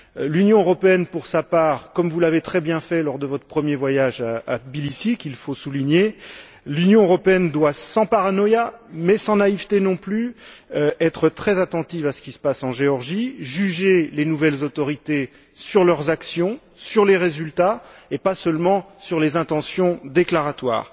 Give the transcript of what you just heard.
L'Union européenne, pour sa part comme vous l'avez très bien fait, lors de votre premier voyage à Tbilissi, il faut le souligner doit, sans paranoïa mais sans naïveté non plus, être très attentive à ce qui se passe en Géorgie, juger les nouvelles autorités sur leurs actions, sur leurs résultats et pas seulement sur les intentions déclaratoires.